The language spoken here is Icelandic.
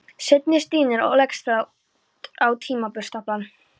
Svenni stynur og leggst flatur á timburstaflann.